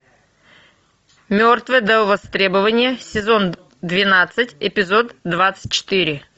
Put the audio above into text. мертвый до востребования сезон двенадцать эпизод двадцать четыре